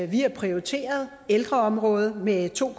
vi har prioriteret ældreområdet med to